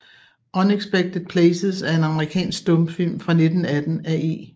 Unexpected Places er en amerikansk stumfilm fra 1918 af E